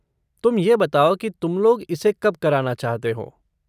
तुम ये बताओ कि तुम लोग इसे कब कराना चाहते हो?